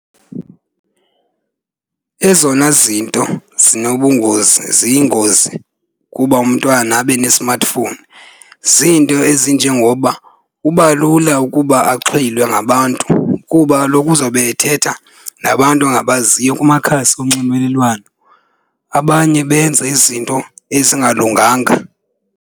Ezona zinto zinobungozi ziyingozi kuba umntwana abe ne-smartphone ziinto ezinjengoba kuba lula ukuba axhwilwe ngabantu kuba kaloku uzowube ethetha nabantu angabaziyo kumakhasi onxibelelwano. Abanye benze izinto ezingalunganga.